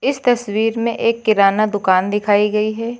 इस तस्वीर में एक किराना दुकान दिखाई गई है।